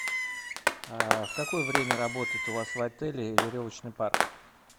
в какое время работает у вас в отеле веревочный парк